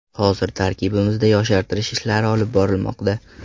Hozir tarkibimizda yoshartirish ishlari olib borilmoqda.